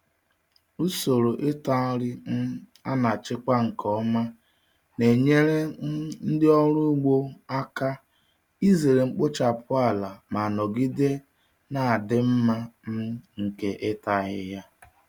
Usoro ịta nri um a na-achịkwa nke ọma na-enyere um ndị ọrụ ugbo aka izere mkpochapụ ala ma nọgide na-adị mma um nke ịta ahịhịa.